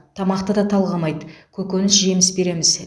тамақты да талғамайды көкөніс жеміс береміз